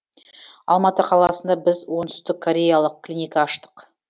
алматы қаласында біз оңтүстік кореялық клиника аштық